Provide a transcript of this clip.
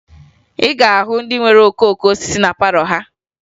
Ị ga-ahụ ndị nwere okooko osisi na palọ ha